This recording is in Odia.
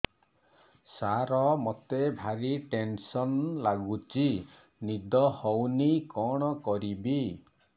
ସାର ମତେ ଭାରି ଟେନ୍ସନ୍ ଲାଗୁଚି ନିଦ ହଉନି କଣ କରିବି